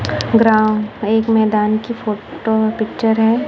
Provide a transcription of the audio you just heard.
Ground एक मैदान की फोटो पिक्चर है।